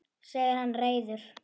segir hann reiður.